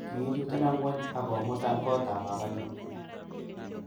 Kiichuten ngwony ag komutan kotap babanyun.